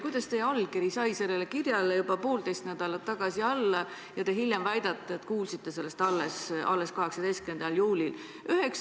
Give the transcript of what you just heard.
Kuidas teie allkiri sai sellele kirjale juba poolteist nädalat varem alla, kui te hiljem väidate, et kuulsite sellest alles 18. juulil?